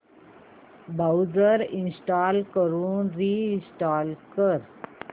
browser uninstall करून reinstall कर